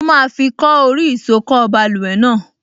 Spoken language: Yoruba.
Mo máa fi kọ́ orí ìsokọ́ báluwẹ̀ náà